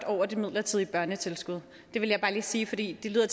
over det midlertidige børnetilskud det vil jeg bare lige sige fordi det lyder